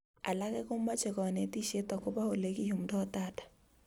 Alake komoche konetishet akobo olekiyumdoi data